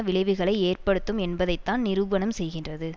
விளைவுகளை எற்படுத்தும் என்பதைத்தான் நிரூபணம் செய்கின்றது